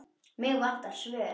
Mig vantar svör.